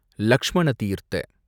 Lakshmana Theertha